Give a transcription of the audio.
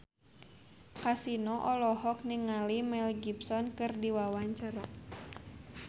Kasino olohok ningali Mel Gibson keur diwawancara